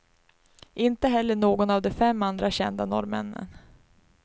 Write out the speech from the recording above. Inte heller någon av de fem andra kända norrmännen.